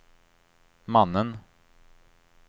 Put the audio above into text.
mannen